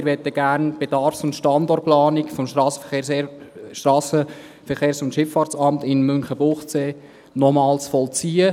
Wir möchten die Bedarfs- und Standortplanung des Strassenverkehrs- und Schifffahrtsamts (SVSA) in Münchenbuchsee gern noch einmal vollziehen.